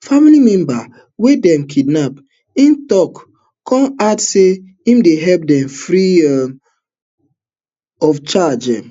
family member wey dem kidnap im tok kon add say im dey help dem free um of charge um